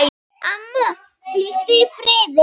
Amma, hvíldu í friði.